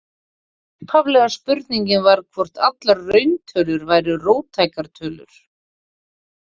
Upphaflega spurningin var hvort allar rauntölur væru róttækar tölur.